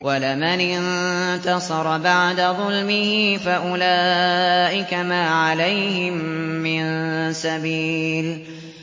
وَلَمَنِ انتَصَرَ بَعْدَ ظُلْمِهِ فَأُولَٰئِكَ مَا عَلَيْهِم مِّن سَبِيلٍ